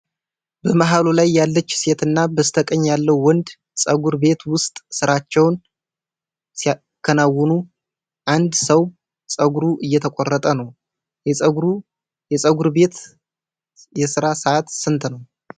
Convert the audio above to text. በመሃሉ ላይ ያለች ሴት እና በስተቀኝ ያለው ወንድ ፀጉር ቤት ውስጥ ሥራቸውን ሲያከናውኑ፣ አንድ ሰው ፀጉሩ እየተቆረጠ ነው። የፀጉር ቤቱ የሥራ ሰዓት ስንት ነው?